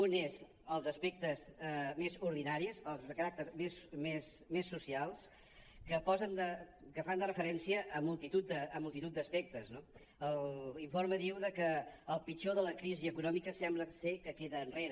un és els aspectes més ordinaris els de caràcter més social que fan de referència a multitud d’aspectes no l’informe diu que el pitjor de la crisi econòmica sembla que queda enrere